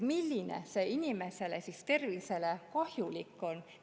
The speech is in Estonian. Milline see inimese tervisele kahjulik on?